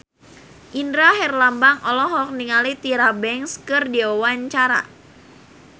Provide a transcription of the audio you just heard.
Indra Herlambang olohok ningali Tyra Banks keur diwawancara